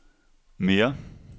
mere